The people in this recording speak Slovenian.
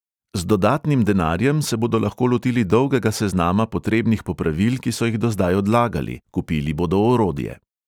Z dodatnim denarjem se bodo lahko lotili dolgega seznama potrebnih popravil, ki so jih do zdaj odlagali, kupili bodo orodje.